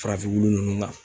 Farafin wulu ninnu nan.